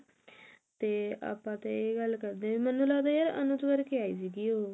ਤੇ ਆਪਾਂ ਤੇ ਇਹ ਗੱਲ ਕਰਦੇ ਹਾਂ ਮੈਨੂੰ ਲੱਗਦਾ ਯਾਰ ਅਨੁਜ ਕਰਕੇ ਆਈ ਸੀ